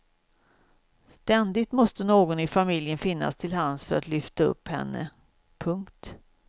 Ständigt måste någon i familjen finnas till hands för att lyfta upp henne. punkt